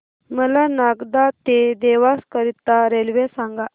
मला नागदा ते देवास करीता रेल्वे सांगा